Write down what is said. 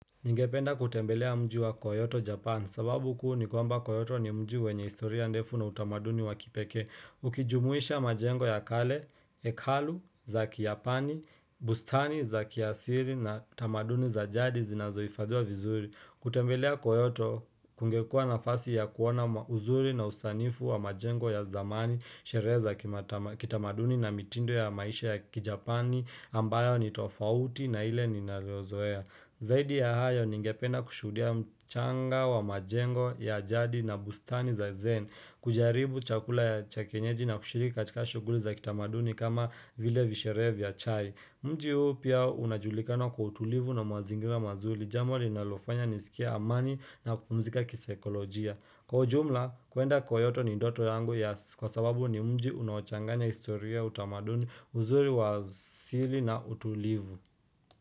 Ningependa kutembelea mji wa Koyoto Japan, sababu kuu ni kwamba Koyoto ni mji wenye historia ndefu na utamaduni wa kipekee. Ukijumuisha majengo ya kale, ekalu, zaki ya pani, bustani, zaki ya siri na utamaduni za jadi zinazoifadhiwa vizuri. Kutembelea Koyoto kungekua nafasi ya kuona uzuri na usanifu wa majengo ya zamani, sherehe kitamaduni na mitindo ya maisha ya kijapani ambayo ni tofauti na ile ninalozoea. Zaidi ya hayo ningependa kushuhudia mchanga wa majengo ya jadi na bustani za zen kujaribu chakula ya cha kienyeji na kushiriki katika shuguli za kitamaduni kama vile visherehe vya chai Mji huo pia unajulikana kwa utulivu na mazingira mazuri Jambo linalofanya nisikie amani na kupumzika kisaikolojia Kwa ujumla kuenda koyoto ni ndoto yangu ya Kwa sababu ni mji unachanganya historia utamaduni uzuri wa sili na utulivu.